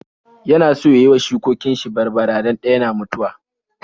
Yana so ya yi wa shukokin shi barbara don ɗaya na mutuwa.